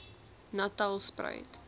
natalspruit